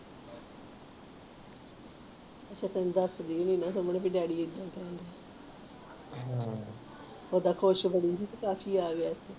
ਅੱਛਾ ਤੈਨੂੰ ਦਸਦੀ ਹੋਣੀ ਆ ਹੰ ਕਿ ਡੈਡੀ ਐਦਾ ਕਹਿੰਦਿਆਂ ਹਮ ਓਹਦਾ ਖੁਸ਼ ਬੜੀ ਹੀ ਕਿ ਚਾਚੀ ਆਏ ਆ ਐਥੇ